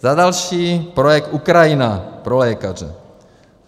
Za další, projekt Ukrajina pro lékaře.